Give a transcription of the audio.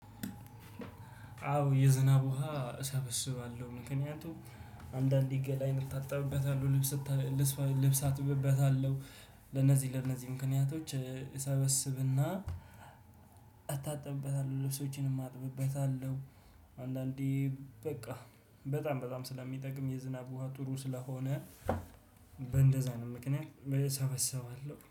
አዎ የዝናብ ውሃ እሰበስባለሁ ምክንያቱም አንዳንዴ ገላዬን እታጠብበታለሁ ልብስ ልብስ አጥብበታለሁ ለነዚህ ለነዚህ ምክንያቶች እሰበስብና እታጠብበታለሁ ልብሶቼንም አጥብበታለሁ። አንዳንዴ በቃ በጣም በጣም ስለሚጠቅም የዝናብ ውሃ ጥሩ ስለሆነ በእንደዛ አይነት ምክንያት እሰበሰባለሁ